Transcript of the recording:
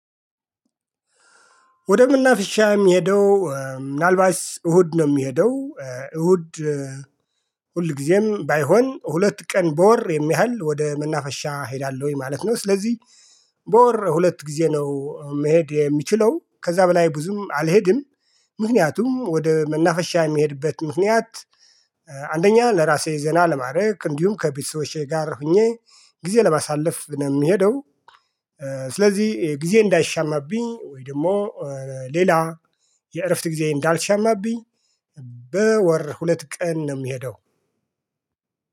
ወደ መናፍሻ የምሄደው ምናልባት እሁድ ነው የምሄደው እሁድ ሁልጊዜም ባይሆን ሁለት ቀን በወር የሚያህል ወደ መናፈሻ እሄዳለሁኝ ማለት ነው። ስለዚህ በወር ሁለት ጊዜ ነው መሄድ የምችለው ከዛ በላይ ብዙም አልሄድም። ምክንያቱም ወደ መናፈሻ የምሄድበት ምክንያት አንደኛ ለራሴ ዘና ለማድረግ እንዲሁም ከቤተሰቦቼ ጋር ሆኜ ጊዜ ለማሳለፍ ነው የምሄደው። ስለዚህ ጊዜ እንዳይሻማብኝ ወይ ደግሞ ሌላ የእረፍት ጊዜ እንዳልሻማብኝ። በወር ሁለት ቀን ነው የምሄደው።